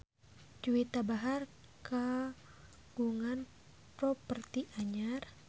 Juwita Bahar kagungan properti anyar